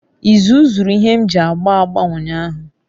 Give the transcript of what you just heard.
Izu zuru ihe m ji agba agba unyahu